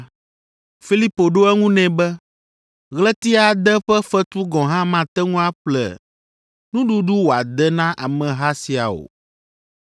Filipo ɖo eŋu nɛ be, “Ɣleti ade ƒe fetu gɔ̃ hã mate ŋu aƒle nuɖuɖu wòade na ameha sia o!”